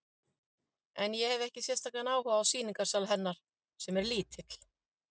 En ég hefi ekki sérstakan áhuga á sýningarsal hennar, sem er lítill.